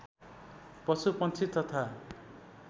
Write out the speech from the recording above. पशु पंक्षी तथा